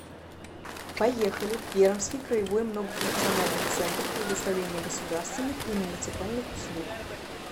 поехали пермский краевой многофункциональный центр предоставления государственных и муниципальных услуг